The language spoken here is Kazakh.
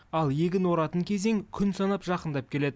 ал егін оратын кезең күн санап жақындап келеді